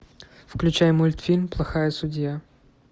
включай мультфильм плохая судья